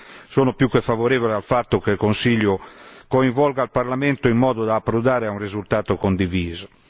Quindi sono più che favorevole al fatto che il Consiglio coinvolga il Parlamento in modo da approdare a un risultato condiviso.